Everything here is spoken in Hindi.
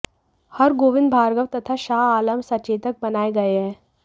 हरगोविंद भार्गव तथा शाह आलम सचेतक बनाए गए हैं